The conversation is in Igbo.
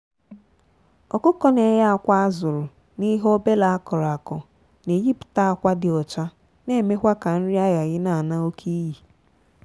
ọkụkọ na eye akwa azuru na ihe obele akọrọ akọ na eyi pụta akwa dị ọcha na eme kwa ka nri aghaghị na ana oke iyi.